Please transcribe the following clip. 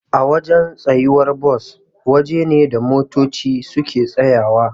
Awajan tsayuwar Bus waje ne da motoci suke tsayawa